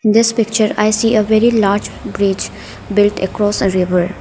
in this picture i see a very large bridge built across a river.